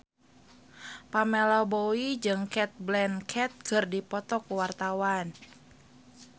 Pamela Bowie jeung Cate Blanchett keur dipoto ku wartawan